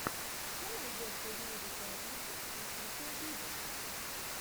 что найдется из музыки авичи офишел виво